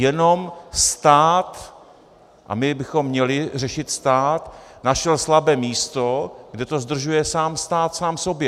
Jenom stát - a my bychom měli řešit stát - našel slabé místo, kde to zdržuje stát sám sobě.